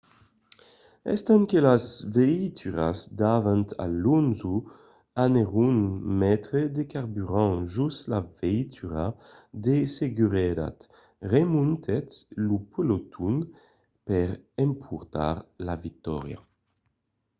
estant que las veituras davant alonso anèron metre de carburant jos la veitura de seguretat remontèt lo peloton per emportar la victòria